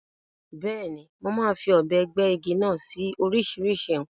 Bẹ́ẹ̀ni, mo máa fi ọ̀bẹ gbẹ́ igi náà sí oríṣìíríṣìí nǹkan.